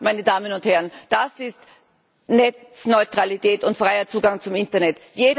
Das, meine Damen und Herren, ist Netzneutralität und freier Zugang zum Internet.